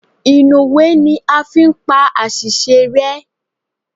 inúwé ní a fí n pá asísé rẹ